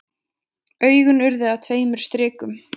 Augun urðu að tveimur strikum.